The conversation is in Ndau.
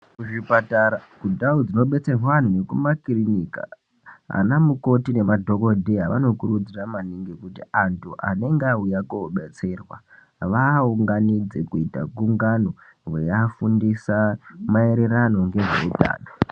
Kuzvipatara kundau dzinodetserwa anthu nekumakirinika ana mukoti nemadhokodheya vanokurudzira maningi kuti anthu anenge auya kodetserwa vaaunganidze kuita gungano veiafundisa maererano ngezveutano.